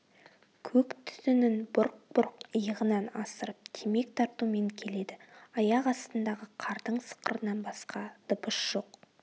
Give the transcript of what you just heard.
көк түтінін бұрқ-бұрқ иығынан асырып темек тартумен келеді аяқ астындағы қардың сықырынан басқа дыбыс жоқ